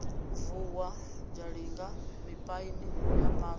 vuwa zhalinga mipaini ya swa